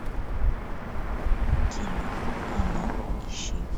кино оно ищи